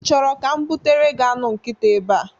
Ị chọrọ ka m butere gị anụ nkita ebea?